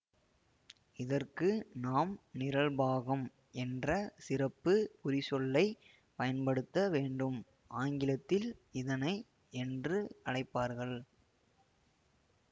இதற்கு நாம் நிரல்பாகம் என்ற சிறப்பு குறிச்சொல்லை பயன்படுத்தவேண்டும் ஆங்கிலத்தில் இதனை என்று அழைப்பார்கள்